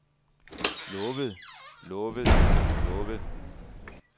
lovet lovet lovet